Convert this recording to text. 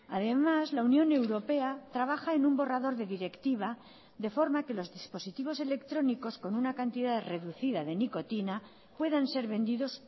además la unión europea trabaja en un borrador de directiva de forma que los dispositivos electrónicos con una cantidad reducida de nicotina puedan ser vendidos